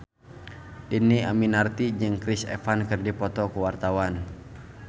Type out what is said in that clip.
Dhini Aminarti jeung Chris Evans keur dipoto ku wartawan